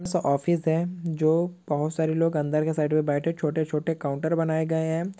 साऑफिस है जो बोहोत सारे लोग अंदर के साइड मे बैठे छोटे छोटे काउन्टर बनाए गए हैं।